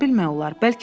Nə bilmək olar?